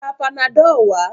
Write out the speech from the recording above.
Lọ ra Panadọ́ọ̀ wá!